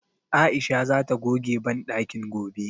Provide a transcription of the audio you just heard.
Aisha zata goge banɗakin gobe.